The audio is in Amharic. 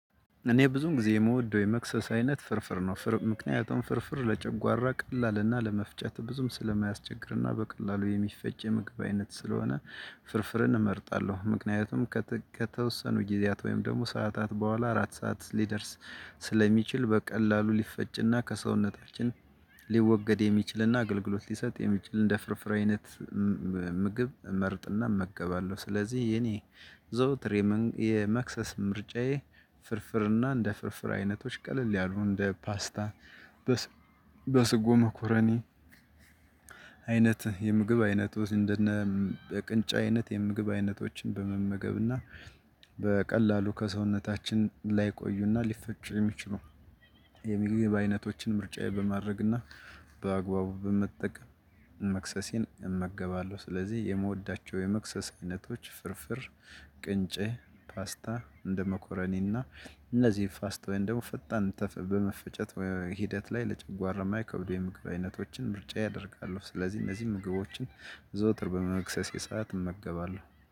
እኔ ብዙም ጊዜ የምወደው የመክሰስ አይነት ፍርፍር ነው ምክንያቱም ፍርፍር ለጨጓራ ቀላልና ለመፍጨት ብዙም ስለማያስቸግርና በቀላሉ የሚፈጭ የምግብ አይነት ስለሆነ ፍርፍርን እመርጣለሁ። ምክንያቱም ከተወሰኑ ጊዜያት ወይም ደግሞ ሰዓታት በኋላ እራት ሰዓት ሊደርስ ስለሚችል በቀላሉ ሊፈጭና ከሰውነታችን ሊወገድ የሚችልና አገልግሎት ሊሰጥ የሚችል እንደ ፍርፍራ አይነት። ምግብ መርጥና መገባለሁ ስለዚህ የኔ ዘውትር የመክሰስ ምርጫዬ ፍርፍርና እንደ ፍርፍር አይነቶች ቀለል ያሉ እንደ ፓስታ። በስጎ መኮረኒ አይነት የምግብ አይነቶች እንደነ ቅንጫ አይነት የምግብ አይነቶችን በመመገብና በቀላሉ ከሰውነታችን ላይ ቆዩና ሊፈጭ የሚችሉ የምግብ በአይነቶችን ምርጫዬ በማድረግና በአግባቡ በመጠቀም መክሰሴን እመገባለሁ። ስለዚህ የምወዳቸው የመክሰሳ አይነቶች ፍርፍር ቅንጬ ፋስታ እንደመኮረኔና እነዚህ ፋስታ ወይን ደግሞ ፈጣን በመፈጨት ሂደት ላይ ለጭጓራ የማይከብደው የምግብ አይነቶችን ምርጫ ያደርጋሉ። ስለዚህ እነዚህ ምግቦችን ዘውትር በመክሰስ የሰዓት እመገባለሁ